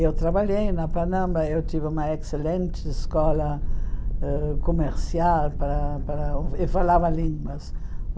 Eu trabalhei na, eu tive uma excelente escola ãh comercial para para e falava línguas.